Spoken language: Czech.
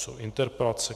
Ústní interpelace